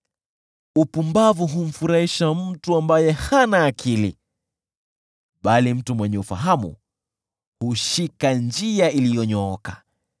Upumbavu humfurahisha mtu ambaye hana akili, bali mtu mwenye ufahamu hushika njia iliyonyooka.